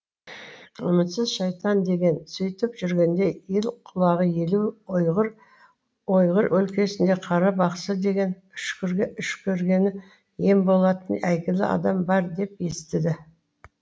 үмітсіз шайтан деген сөйтіп жүргенде ел құлағы елу ойғыр өлкесінде қара бақсы деген үшкіргені ем болатын әйгілі адам бар деп естіді